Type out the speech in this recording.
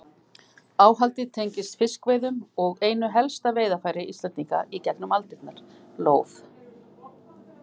Áhaldið tengist fiskveiðum og einu helsta veiðarfæri Íslendinga í gegnum aldirnar, lóð.